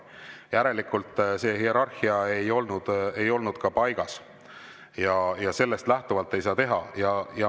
Järelikult see hierarhia ei olnud paigas ja sellest lähtuvalt ei saa.